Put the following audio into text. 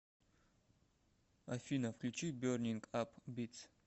афина включи бернинг ап битс